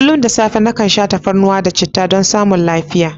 Kullum da safe nakan sha tafarnuwa da chittah don samun lafiya.